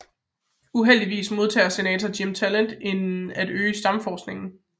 Uheldigvis modarbejder Senator Jim Talent at øge stamcelleforskningen